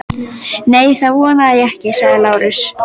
Nei, það vona ég ekki, svaraði Lárus.